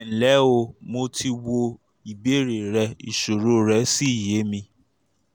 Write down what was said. um ẹ ǹlẹ́ o mo ti wo ìbéèrè rẹ ìṣòro rẹ́ sì yé mi